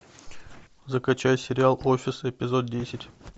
закачай сериал офис эпизод десять